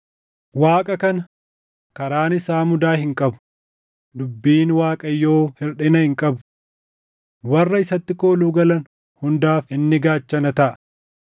“Waaqa kana, karaan isaa mudaa hin qabu; dubbiin Waaqayyoo hirʼina hin qabu. Warra isatti kooluu galan hundaaf inni gaachana taʼa.